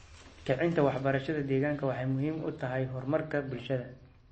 Kicinta waxbarashada deegaanka waxay muhiim u tahay horumarka bulshada.